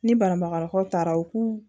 Ni banabagatɔw taara u k'u